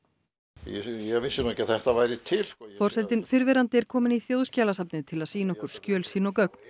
ég vissi nú ekki að þetta væri til hér forsetinn fyrrverandi er kominn í Þjóðskjalasafnið til að sýna okkur skjöl sín og gögn